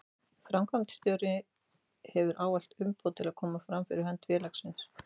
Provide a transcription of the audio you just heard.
Framkvæmdastjóri hefur ávallt umboð til að koma fram fyrir hönd félagsins.